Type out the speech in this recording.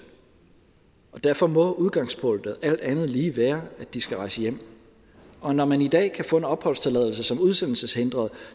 og derfor må udgangspunktet alt andet lige være at de skal rejse hjem og når man i dag kan få en opholdstilladelse som udsendelseshindret